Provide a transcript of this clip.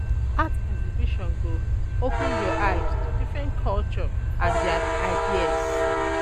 Art um exhibition go um open your eye um to different culture and their ideas.